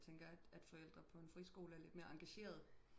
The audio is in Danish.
Tænker at forældrer på en friskole er lidt mere engageret